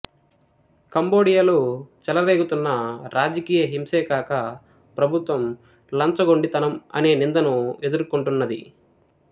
కంబోడియాలో చెలరేగుతున్న రాజకీయ హింసే కాక ప్రభుత్వం లంచగొండితనం అనే నిందను ఎదుర్కొంటున్నది